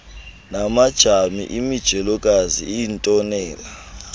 namadami imijelokazi iitonela